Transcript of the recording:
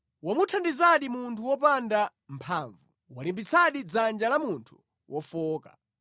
“Wamuthandizadi munthu wopanda mphamvu! Walimbitsadi dzanja la munthu wofowoka!